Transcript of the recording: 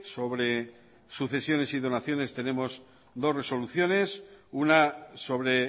sobre sucesiones y donaciones tenemos dos resoluciones una sobre